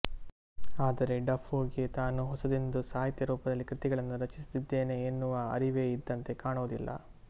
ಆದರೆ ಡಫೋಗೆ ತಾನು ಹೊಸದೊಂದು ಸಾಹಿತ್ಯರೂಪದಲ್ಲಿ ಕೃತಿಗಳನ್ನು ರಚಿಸುತ್ತಿದ್ದೇನೆ ಎನ್ನುವ ಅರಿವೇ ಇದ್ದಂತೆ ಕಾಣುವುದಿಲ್ಲ